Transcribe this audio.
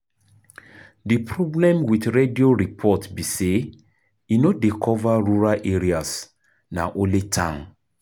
Di problem with radio report be sey e no dey cover rural areas, na only town